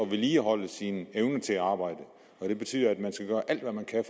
vedligeholde sin evne til at arbejde og det betyder at man skal gøre alt hvad man kan